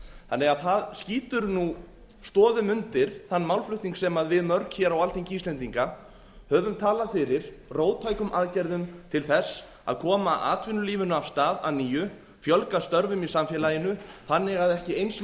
þannig að það skýtur nú stoðum undir þann málflutning sem við mörg hér á alþingi íslendinga höfum talað fyrir róttækum aðgerðum til þess að koma atvinnulífinu af stað að nýju fjölga störfum í samfélaginu þannig að ekki eins